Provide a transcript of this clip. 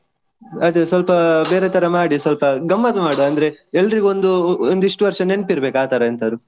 ಅದೇ ಸ್ವಲ್ಪ ಬೇರೆ ತರ ಮಾಡಿ ಸ್ವಲ್ಪ ಗಮ್ಮತ್ ಮಾಡ್ವಾ ಅಂದ್ರೆ ಎಲ್ರಿಗೂ ಒಂದು ಒಂದು ಇಷ್ಟು ವರ್ಷ ನೆನ್ಪಿರ್ಬೇಕು ಆತರ ಎಂತಾದ್ರು.